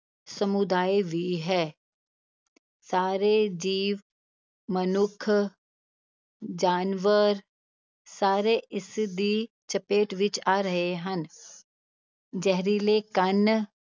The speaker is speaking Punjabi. ਸਮੁਦਾਇ ਵੀ ਹੈ ਸਾਰੇ ਜੀਵ, ਮਨੁੱਖ, ਜਾਨਵਰ ਸਾਰੇ ਇਸਦੀ ਚਪੇਟ ਵਿੱਚ ਆ ਰਹੇ ਹਨ ਜ਼ਹਿਰੀਲੇ ਕਣ